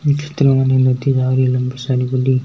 इस चित्र मे --